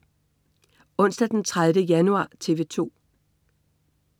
Onsdag den 30. januar - TV 2: